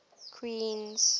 queens